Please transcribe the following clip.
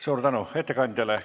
Suur tänu ettekandjale!